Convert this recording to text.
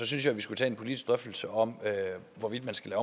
synes jeg vi skulle tage en politisk drøftelse om hvorvidt man skal